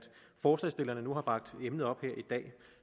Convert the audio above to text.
forslagsstillerne nu har bragt emnet op her i dag